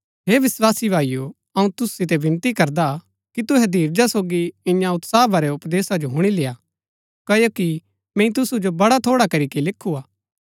हे विस्वासी भाईओ अऊँ तुसु सितै विनती करदा कि तुहै धीरज सोगी इन्या उत्साह भरै उपदेशा जो हुणी लेय्आ क्ओकि मैंई तुसु जो बड़ा थोड़ा करीके लिखु हा